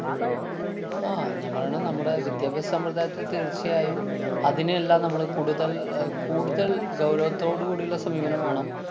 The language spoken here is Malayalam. ആ, ഞാന്‍ പറയണു നമ്മുടെ വിദ്യാഭ്യാസ സമ്പ്രദായത്തില്‍ തീര്‍ച്ചയായും അതിനെയെല്ലാം നമ്മള് കൂടുതല്‍ അഹ് കൂടുതല്‍ ഗൗരവത്തോട് കൂടിയുള്ള സമീപനം വേണം.